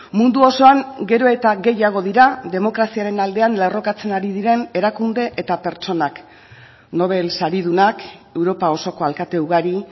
mundu osoan gero eta gehiago dira demokraziaren aldean lerrokatzen ari diren erakunde eta pertsonak nobel saridunak europa osoko alkate ugari